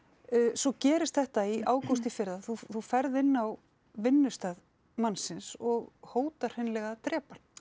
svo gerist þetta í ágúst í fyrra að þú ferð inn á vinnustað mannsins og hótar hreinlega að drepa hann